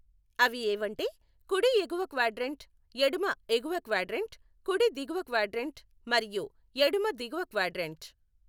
అవి ఏవంటే, కుడి ఎగువ క్వాడ్రంట్, ఎడమ ఎగువ క్వాడ్రంట్, కుడి దిగువ క్వాడ్రంట్ మరియు ఎడమ దిగువ క్వాడ్రంట్.